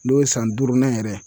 N'o ye san duurunan yɛrɛ ye.